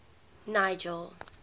nigel